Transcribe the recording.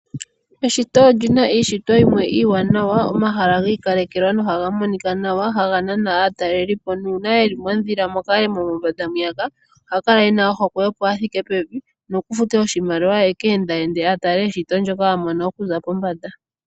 Eshito olyi a iishitwa yimwe iiwanawa. Omahala gi ikalekelwa no haga monika nawa haga nana aataleli po, nuuna yeli mondhila muule mombanda mwiiyaka oha kala ena ohokwe a thike pevi nokufute oshimaliwa aka endaende a tale eshito ndoka a mono okuza pombanda.